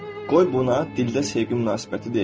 Qoy buna dildə sevgi münasibəti deyim.